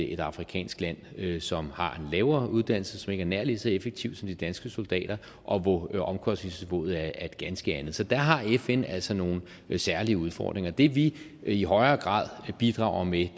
et afrikansk land land som har en lavere uddannelse som ikke er nær lige så effektiv som de danske soldater og hvor omkostningsniveauet er et ganske andet så der har fn altså nogle særlige udfordringer det vi i højere grad bidrager med